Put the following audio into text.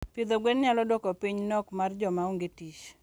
Pidho gwen nyalo duoko piny nok mar joma onge tich.